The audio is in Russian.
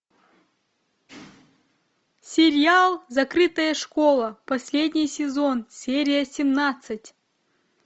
сериал закрытая школа последний сезон серия семнадцать